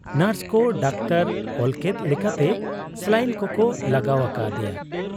ᱱᱚᱨᱥᱠᱚ doctor ᱚᱞᱠᱮᱫ ᱞᱮᱠᱟᱛᱮ ᱥᱟᱞᱟᱭᱤᱱ ᱠᱚᱠᱚ ᱞᱟᱜᱟᱣ ᱟᱠᱟ ᱟᱫᱮᱭᱟ ᱾